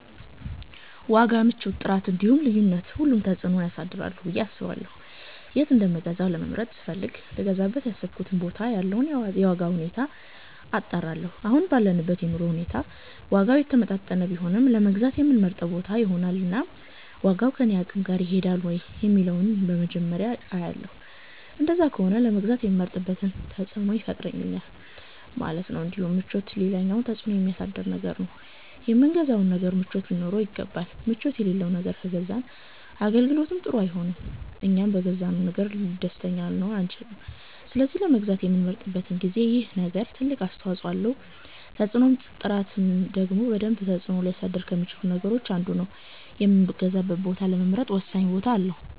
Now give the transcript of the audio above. ዋጋ፣ ምቾት፣ ጥራት እንዲሁም ልዩነት ሁሉም ተፅእኖ ያሳድራሉ ብየ አስባለሁ የት እንደምገዛ ለመምረጥ ስፈልግ ልገዛበት ያሰብኩበት ቦታ ያለውን የዋጋ ሁኔታ አጣራለሁ አሁን ባለንበት የኑሮ ሁኔታ ዋጋው የተመጣጠነ ቢሆን ለመግዛት የምመርጠው ቦታ ይሆናል እናም ዋጋው ከኔ አቅም ጋር ይሄዳል ወይ የሚለውን ነገር በመጀመርያ አያለሁ እንደዛ ከሆነ ለመግዛት የምመርጥበት ተፅእኖ ይፈጥራል ማለት ነው እንዲሁም ምቾት ሌላኛው ተፅእኖ የሚያሳድር ነገር ነው የምንገዛው ነገር ምቾት ሊኖረው ይገባል ምቾት የለለው ነገር ከገዛን አገልግሎቱም ጥሩ አይሆንም እኛም በገዛነው ነገር ደስተኛ ልንሆን አንቺልም ስለዚህ ለመግዛት በምንመርጥበት ጊዜ ይሄ ነገር ትልቅ አስተዋፀኦ አለው ተፅእኖም ጥራት ደግሞ በደንብ ተፅእኖ ሊያሳድር ከሚቺሉት ነገሮች አንዱ ነው የምገዛበትን ቦታ ለመምረጥ ወሳኝ ቦታ አለው